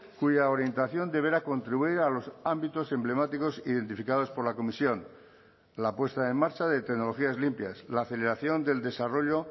cuya orientación deberá contribuir a los ámbitos emblemáticos identificados por la comisión la puesta en marcha de tecnologías limpias la aceleración del desarrollo